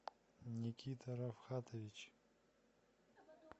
никита рафхатович